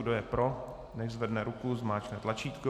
Kdo je pro, nechť zvedne ruku, zmáčkne tlačítko.